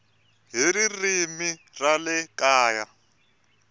hi ririmi ra le kaya